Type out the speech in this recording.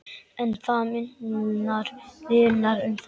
En það munar um þetta.